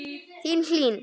Þín, Hlín.